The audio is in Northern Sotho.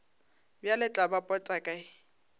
bjale tla ba pota kae